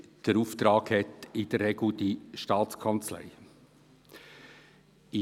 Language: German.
Der Auftrag wird in der Regel von der Staatskanzlei ausgeführt.